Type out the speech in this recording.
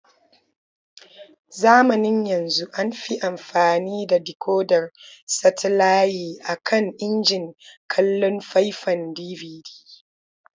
Zamanin yanzu an fi amfani da dikodar satalaye a kan injin kallon faifan DVD.